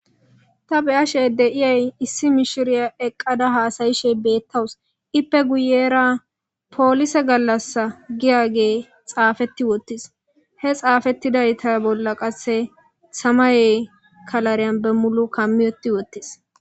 Ta be7ashe de7iyay issi mishiriya eqqada haasayishe beettawus. ippe guyeera poolise gallassa giya gee xaafetti wottis. He xaafettidayta bolla qasse samaye kalariyan bemulu kammi uttti wottis.